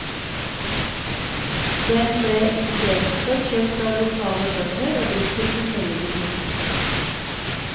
Den ble istedenfor kjøpt av lokale bønder og brukt til forskjellige ting.